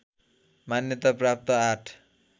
मान्यता प्राप्त आठ